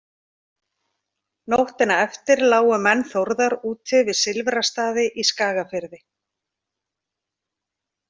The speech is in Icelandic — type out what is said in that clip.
Nóttina eftir lágu menn Þórðar úti við Silfrastaði í Skagafirði.